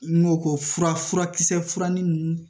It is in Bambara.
N ko ko fura furakisɛ furarin ninnu